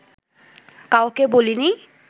কাউকে বলিনি